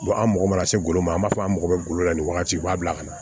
an mago bɛ se golo ma an b'a fɔ an mago bɛ golo la ni wagati b'a bila ka na